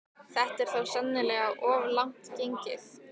Þetta er þó sennilega of langt gengið.